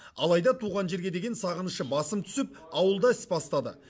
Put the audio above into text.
алайда туған жерге деген сағынышы басым түсіп ауылда іс бастады